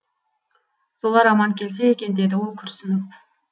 солар аман келсе екен деді ол күрсініп